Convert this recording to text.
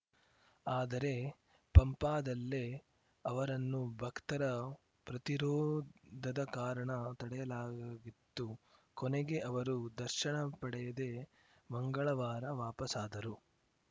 ಆದರೆ ಪಂಪಾದಲ್ಲೇ ಅವರನ್ನು ಭಕ್ತರ ಪ್ರತಿರೋಧದ ಕಾರಣ ತಡೆಯಲಾಗಿತ್ತು ಕೊನೆಗೆ ಅವರು ದರ್ಶನ ಪಡೆಯದೇ ಮಂಗಳವಾರ ವಾಪಸ್ಸಾದರು